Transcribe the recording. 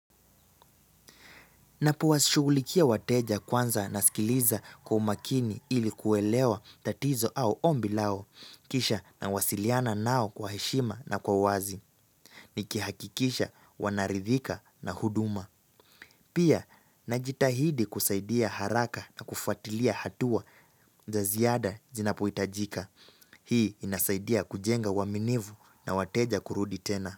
Napowashugulikia wateja kwanza nasikiliza kwa umakini ili kuelewa tatizo au ombi lao, kisha nawasiliana nao kwa heshima na kwa wazi, nikihakikisha wanaridhika na huduma. Pia, najitahidi kusaidia haraka na kufuatilia hatua za ziada zinapohitajika. Hii inasaidia kujenga waminivu na wateja kurudi tena.